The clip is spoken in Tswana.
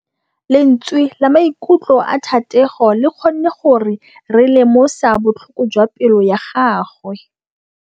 Lentswe la maikutlo a Thategô le kgonne gore re lemosa botlhoko jwa pelô ya gagwe.